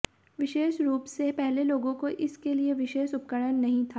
विशेष रूप से पहले लोगों को इस के लिए विशेष उपकरण नहीं था